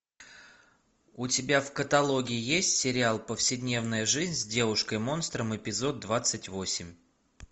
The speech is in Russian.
у тебя в каталоге есть сериал повседневная жизнь с девушкой монстром эпизод двадцать восемь